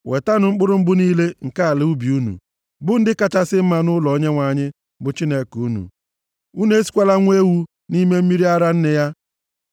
“Wetanụ mkpụrụ mbụ niile nke ala ubi unu, bụ ndị kachasị mma nʼụlọ Onyenwe anyị, bụ Chineke unu. “Unu esikwala nwa ewu nʼime mmiri ara nne ya.”